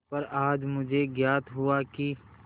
पर आज मुझे ज्ञात हुआ कि